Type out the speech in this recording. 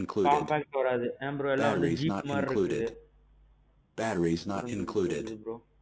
compactஅ வராது ஏன் bro எல்லாம் Jeep மாறி இருக்குது. புரிஞ்சிது புரிஞ்சுது bro.